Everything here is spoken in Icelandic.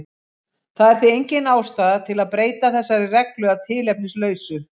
Það er því engin ástæða til að breyta þessari reglu að tilefnislausu.